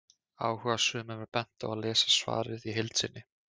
Áhugasömum er bent á að lesa svarið í heild sinni.